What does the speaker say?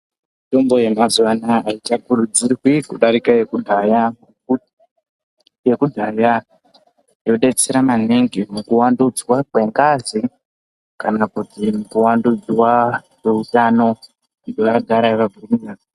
Mitombo yemazuva anawa haichakurudzirwi kudarika yekudhaya yekudhaya yodetsera maningi muku wandudzwa kwengazi kana kuti kuwandudzwa kwehutano nevagari vemuno.